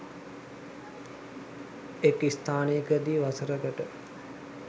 එක් ස්ථානයකදී වසරකට